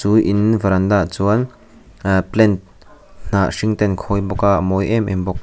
chu in veranda ah chuan ahh plant hnah hring te an khawi bawk a a mawi em em bawk.